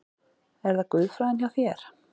Er það guðfræðin hjá þér?